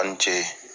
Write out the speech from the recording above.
A ni ce